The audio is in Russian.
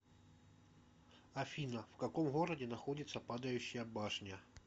афина в каком городе находится падающая башня